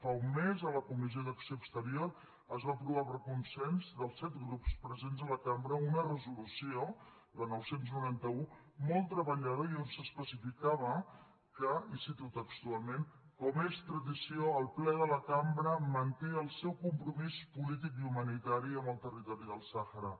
fa un mes a la comissió d’acció exterior es va aprovar per consens dels set grups presents a la cambra una resolució la nou cents i noranta un molt treballada i on s’especificava que i ho cito textualment com és tradició el ple de la cambra manté el seu compromís polític i humanitari amb el territori del sàhara